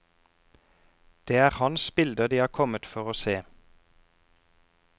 Det er hans bilder de har kommet for å se.